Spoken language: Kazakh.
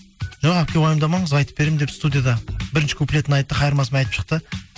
жоқ әпке уайымдамаңыз айтып беремін деп студияда бірінші куплетін айтты қайырмасымен айтып шықты